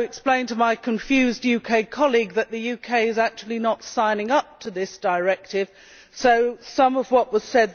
like to explain to my confused UK colleague that the UK is actually not signing up to this Directive, so some of what was said